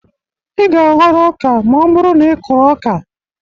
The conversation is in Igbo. Ị ga-aghọrọ ọka ma ọ bụrụ na ị kụrụ ọka